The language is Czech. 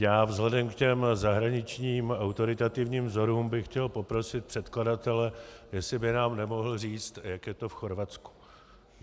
Já vzhledem k těm zahraničním autoritativním vzorům bych chtěl poprosit předkladatele, jestli by nám nemohl říci, jak je to v Chorvatsku.